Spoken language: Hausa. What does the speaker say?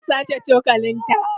Zan sace cokalin ta.